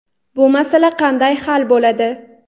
Bu masala qanday hal bo‘ladi?.